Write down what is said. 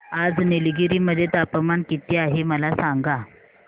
आज निलगिरी मध्ये तापमान किती आहे मला सांगा